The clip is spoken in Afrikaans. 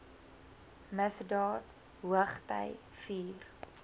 misdaad hoogty vier